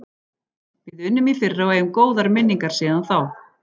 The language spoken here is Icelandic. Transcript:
Við unnum í fyrra og eigum góðar minningar síðan þá.